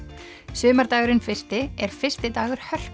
sumardagurinn fyrsti er fyrsti dagur